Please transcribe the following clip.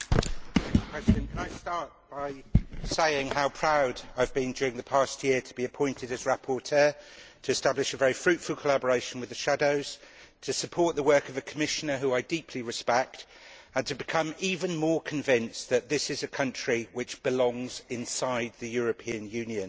Mr President, I would like to start by saying how proud I have been during the past year to be appointed as rapporteur to establish a very fruitful collaboration with the shadows, to support the work of the Commissioner whom I deeply respect and to become even more convinced that this is a country which belongs inside the European Union.